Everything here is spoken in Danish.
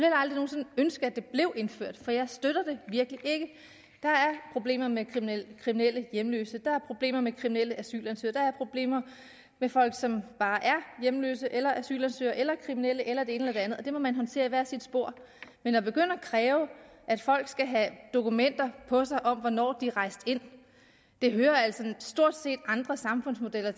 ønske at det bliver indført for jeg støtter det virkelig ikke der er problemer med kriminelle kriminelle hjemløse der er problemer med kriminelle asylansøgere der er problemer med folk som bare er hjemløse eller asylansøgere eller kriminelle eller det ene eller det andet og det må man håndtere i hver sit spor men at begynde at kræve at folk skal have dokumenter på sig om hvornår de er rejst ind hører altså stort set til i andre samfundsmodeller